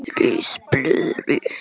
Ris blöðru